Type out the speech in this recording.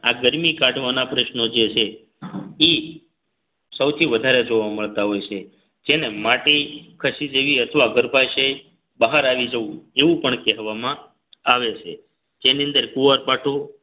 આ ગરમી કાઢવાના પ્રશ્નો જે છે ઈ સૌથી વધારે જોવા મળતા હોય છે જેને માટે ખસી જેવી અથવા ગર્ભાશય બહાર આવી જવું એવું પણ કહેવામાં આવે છે જેની અંદર કુવારપાઠું